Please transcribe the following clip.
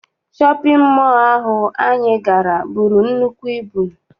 Shọpịn mọọ ahụ anyị gara buru nnukwu ibu.